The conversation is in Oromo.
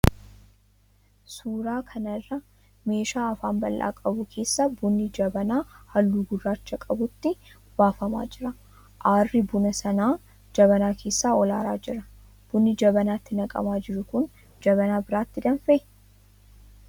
Suuraa kana irraa meeshaa afaan bal'aa qabu keessaa buunni jabanaa halluu gurraacha qabutti buufamaa jira. Aarrii buna sanaa jabanaa keessaa ol aaraa jira. Bunni jabanaatti naqamaa jiru kun jabanaa biraatti danfee?